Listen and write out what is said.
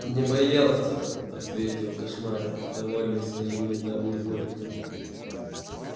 не боялся ответил кошмарик довольный своим недавним подвигом